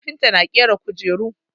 Kafinta na ƙera kujeru.